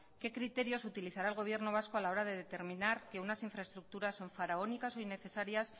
qué criterios utilizará el gobierno vasco a la hora de determinar que unas infraestructuras son faraónicas o innecesarias